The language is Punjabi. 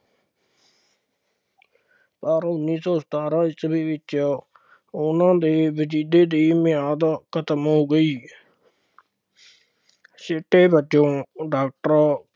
ਪਰ ਉੱਨੀ ਸੌ ਸਤਾਰਾਂ ਈਸਵੀ ਵਿੱਚ ਉਹਨਾ ਦੇ ਵੀਜ਼ੇ ਦੀ ਮਿਆਦ ਖਤਮ ਹੋ ਗਈ ਸਿੱਟੇ ਵਜੋਂ ਡਾਕਟਰ,